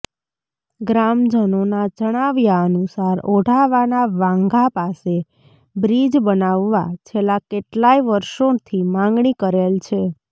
ગ્રામજનોના જણાવ્યા અનુસાર ઓઢાવાના વાંઘા પાસે બ્રિજ બનાવવા છેલ્લા કેટલાય વર્ષોથી માગણી કરેલ છે